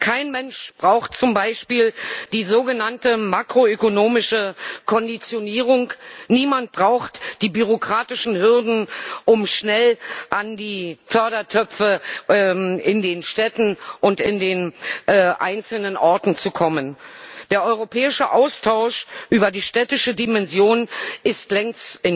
Kein Mensch braucht zum Beispiel die sogenannte makroökonomische Konditionierung, niemand braucht die bürokratischen Hürden, um schnell an die Fördertöpfe in den Städten und in den einzelnen Orten zu kommen. Der europäische Austausch über die städtische Dimension ist längst